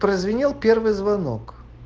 прозвенел первый звонок